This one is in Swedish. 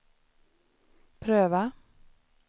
pröva